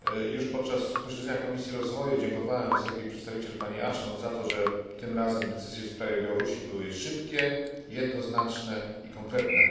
Już podczas posiedzenia Komisji Rozwoju dziękowałem wysokiej przedstawiciel, pani Ashton, za to, że tym razem decyzje w sprawie Białorusi były szybkie, jednoznaczne i konkretne.